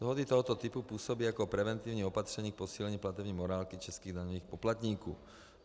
Dohody tohoto typu působí jako preventivní opatření k posílení platební morálky českých daňových poplatníků.